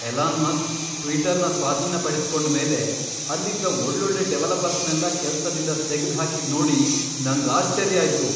Elon Musk ಟ್ವಿಟರ್ನ ಸ್ವಾಧೀನಪಡ್ಸ್ಕೊಂಡ್ಮೇಲೆ ಅಲ್ಲಿದ್ದ ಒಳ್ಳೊಳ್ಳೆ ಡೆವಲಪರ್ಸ್ನೆಲ್ಲ ಕೆಲ್ಸದಿಂದ ತೆಗ್ದ್ಹಾಕಿದ್ ನೋಡಿ ನಂಗ್ ಆಶ್ಚರ್ಯ ಆಯ್ತು.